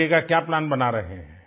आगे का क्या प्लान बना रहे हैं